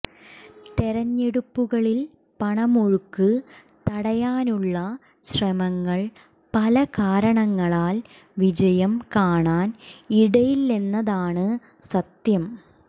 തെരഞ്ഞെടുപ്പുകളിൽ പണമൊഴുക്ക് തടയാനുള്ള ശ്രമങ്ങൾ പല കാരണങ്ങളാൽ വിജയം കാണാൻ ഇടയില്ലെന്നതാണ് സത്യം